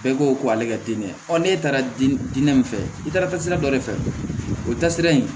Bɛɛ ko ko ale ka dinɛ n'e taara diinɛ min fɛ i taara taasira dɔ de fɛ o taasira in